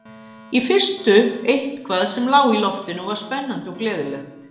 Í fyrstu eitthvað sem lá í loftinu og var spennandi og gleðilegt.